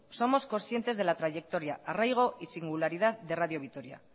somos consciente de la trayectoria arraigo y singularidad de radio vitoria